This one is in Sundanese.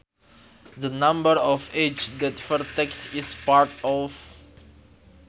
The number of edges that a vertex is part of